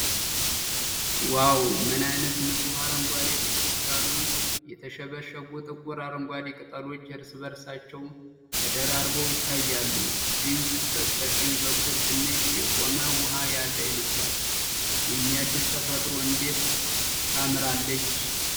ዋው! ምን አይነት ንጹህ አረንጓዴ! ጥቅጥቅ ያሉ፣ የተሸበሸቡ፣ ጥቁር አረንጓዴ ቅጠሎች እርስ በእርሳቸው ተደራርበው ይታያሉ። ድንቅ! በስተቀኝ በኩል ትንሽ የቆመ ውሃ ያለ ይመስላል። የሚያድስ! ተፈጥሮ እንዴት ታምራለች!